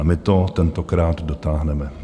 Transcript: A my to tentokrát dotáhneme.